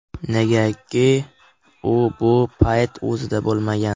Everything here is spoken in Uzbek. Negaki u bu paytda o‘zida bo‘lmagan.